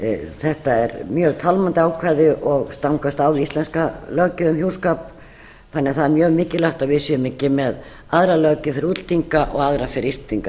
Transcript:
þetta er mjög tálmandi ákvæði og stangast á við íslenska löggjöf um hjúskap þannig að það er mjög mikilvægt að við séum ekki með aðra löggjöf fyrir útlendinga en íslendinga þannig